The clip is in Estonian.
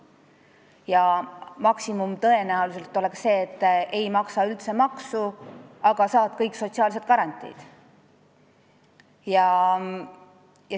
Ja maksimum oleks tõenäoliselt see, et sa ei maksa üldse maksu, aga saad kõik sotsiaalsed garantiid.